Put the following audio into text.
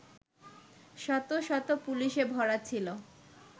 শত শত পুলিশে ভরা ছিলো